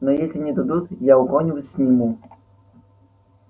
но если не дадут я у кого нибудь сниму